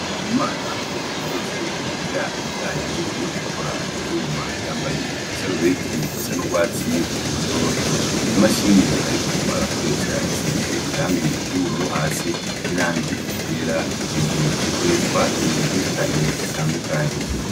Bikaumu mana n'mwee mu banyeshuri biga ibiyanye no gukora ivyuma yambaye igisa rubeti gisa n'urwatsi irutoto imashini, ariko arakoresha isize irangi iryoubururu hasi n'irangi iryera kejuru ikoreshwa ibintu vyinshi cane bitandukanye.